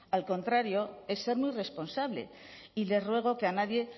al contrario es ser muy irresponsable y le ruego que a nadie